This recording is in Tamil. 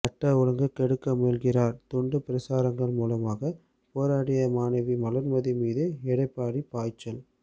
சட்டம் ஒழுங்கை கெடுக்க முயல்கிறார் துண்டு பிரசுரங்கள் மூலமாக போராடிய மாணவி வளர்மதி மீது எடப்பாடி பாய்ச்சல்